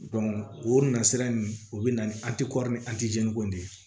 o nasira nunnu o bɛ na ni ko de ye